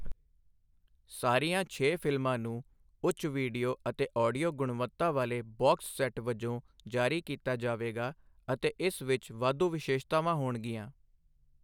ਸਾਰੀਆਂ ਛੇ ਫਿਲਮਾਂ ਨੂੰ ਉੱਚ ਵੀਡੀਓ ਅਤੇ ਆਡੀਓ ਗੁਣਵੱਤਾ ਵਾਲੇ ਬਾਕਸ ਸੈੱਟ ਵਜੋਂ ਜਾਰੀ ਕੀਤਾ ਜਾਵੇਗਾ ਅਤੇ ਇਸ ਵਿੱਚ ਵਾਧੂ ਵਿਸ਼ੇਸ਼ਤਾਵਾਂ ਹੋਣਗੀਆਂ।